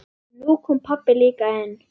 Nú kom pabbi líka inn.